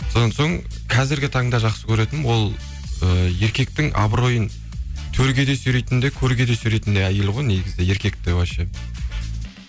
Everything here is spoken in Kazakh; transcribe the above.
содан соң қазіргі таңда жақсы көретінім ол і еркектің абыройын төрге де сүйрейтін де көрге де сүйрейтін де әйел ғой негізі еркекті вообще